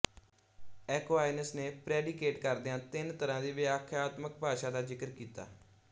Aquinas ਨੇ predicate ਕਰਦਿਆਂ ਤਿੰਨ ਤਰ੍ਹਾਂ ਦੀ ਵਿਆਖਿਆਤਮਿਕ ਭਾਸ਼ਾ ਦਾ ਜ਼ਿਕਰ ਕੀਤਾ